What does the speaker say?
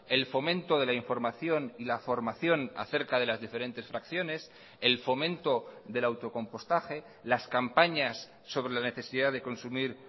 el fomento de la información y la formación acerca de las diferentes fracciones el fomento del autocompostaje las campañas sobre la necesidad de consumir